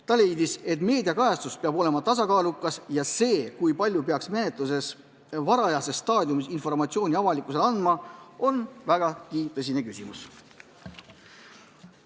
Ta leidis, et meediakajastus peab olema tasakaalukas ja see, kui palju peaks menetluse varajases staadiumis informatsiooni avalikkusele andma, on vägagi tõsine küsimus.